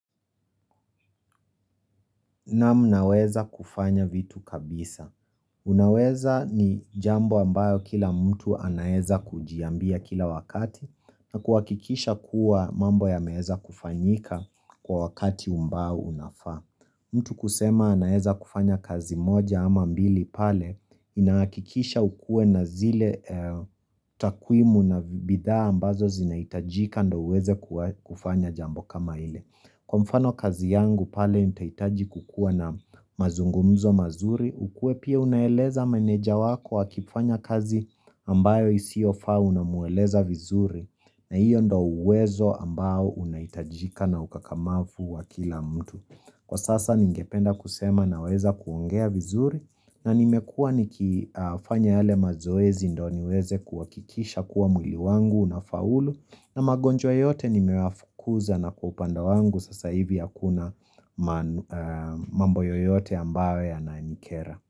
Naweza kufanya vitu kabisa. Unaweza ni jambo ambayo kila mtu anaweza kujiambia kila wakati na kuhakikisha kuwa mambo yameweza kufanyika kwa wakati ambao unafaa. Mtu kusema anaweza kufanya kazi moja ama mbili pale inahakikisha ukuwe na zile takwimu na bidhaa ambazo zinahitajika ndio uweze kufanya jambo kama ile. Kwa mfano kazi yangu pale nitahitaji kukuwa na mazungumzo mazuri, ukuwe pia unaeleza meneja wako akifanya kazi ambayo isiyofaa unamweleza vizuri na hiyo ndio uwezo ambao unahitajika na ukakamavu wa kila mtu. Ningependa kusema naweza kuongea vizuri na nimekuwa nikifanya yale mazoezi ndio niweze kuhakikisha kuwa mwili wangu unafaulu na magonjwa yote nimeyafukuza na kwa upande wangu sasa hivi hakuna mambo yoyote ambayo yananikera.